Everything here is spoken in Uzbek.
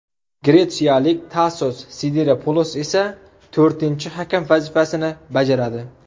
Gretsiyalik Tasos Sidiropulos esa to‘rtinchi hakam vazifasini bajaradi.